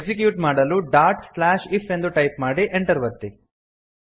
execute ಮಾಡಲು dot slash if ಎಂದು type ಮಾಡಿ Enter ಒತ್ತಿ